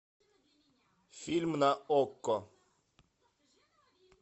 фильм на окко